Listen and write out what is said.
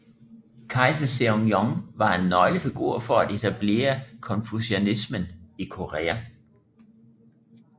Kejser Seongjong var en nøglefigur for at etablere konfucianismen i Korea